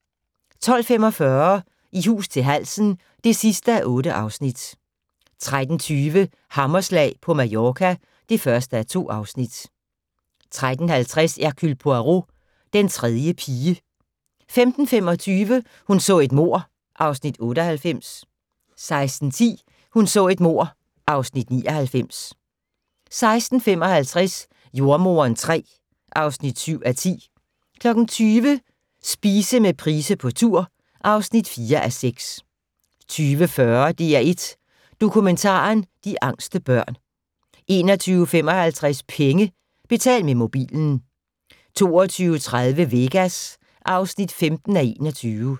12:45: I hus til halsen (8:8) 13:20: Hammerslag på Mallorca (1:2) 13:50: Hercule Poirot: Den tredje pige 15:25: Hun så et mord (Afs. 98) 16:10: Hun så et mord (Afs. 99) 16:55: Jordemoderen III (7:10) 20:00: Spise med Price på tur (4:6) 20:40: DR1 Dokumentaren: De angste børn 21:55: Penge: Betal med mobilen 22:30: Vegas (15:21)